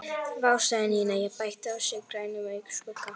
Vá sagði Nína og bætti á sig grænum augnskugga.